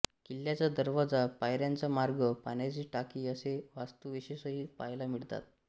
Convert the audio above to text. किल्ल्याचा दरवाजा पायऱ्यांचा मार्ग पाण्याची टाकी असे वास्तूविशेषही पहायला मिळतात